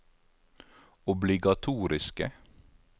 obligatoriske